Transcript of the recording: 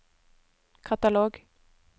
katalog